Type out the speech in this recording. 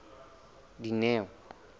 dineo